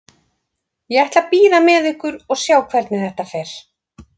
Ég ætla að bíða með ykkur og sjá hvernig þetta fer.